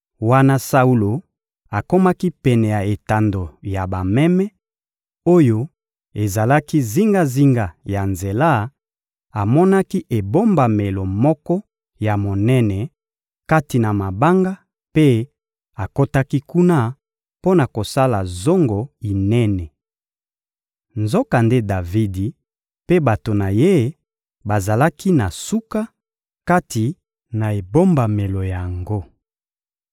Wana Saulo akomaki pene ya etando ya bameme, oyo ezalaki zingazinga ya nzela, amonaki ebombamelo moko ya monene kati na mabanga mpe akotaki kuna mpo na kosala zongo inene. Nzokande Davidi mpe bato na ye bazalaki na suka, kati na ebombamelo yango.